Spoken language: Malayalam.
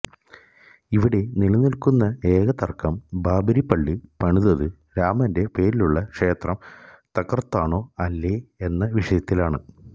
ഇവിടെ നിലനില്ക്കുന്ന ഏക തര്ക്കം ബാബരിപള്ളി പണിതത് രാമന്റെ പേരിലുള്ള ക്ഷേത്രം തകര്ത്താണോ അല്ലേ എന്ന വിഷയത്തിലാണ്